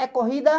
É corrida?